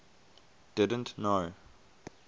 didn t know